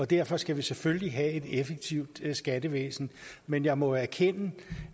derfor skal vi selvfølgelig have et effektivt skattevæsen men jeg må jo erkende